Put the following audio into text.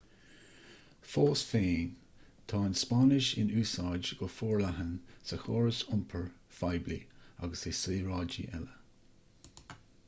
fós féin tá an spáinnis in úsáid go forleathan sa chóras iompair phoiblí agus i saoráidí eile